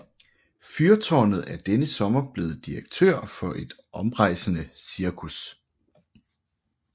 Fyrtårnet er denne sommer blevet direktør for et omrejsende cirkus